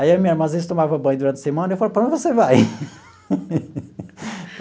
Aí, a minha irmã, às vezes, tomava banho durante a semana, e eu falava, para a onde você vai?